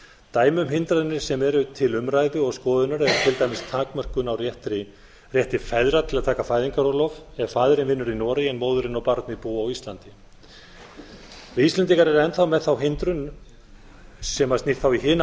dæmi um hindranir sem eru til umræðu og skoðunar eru til dæmis takmörkun á rétti feðra til að taka fæðingarorlof ef faðirinn vinnur í noregi en móðirin og barnið búa á íslandi við íslendingar erum enn þá með þá hindrun sem snýr þá í hina